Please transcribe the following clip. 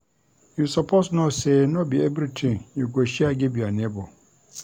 You suppose know sey no be everytin you go share give your nebor.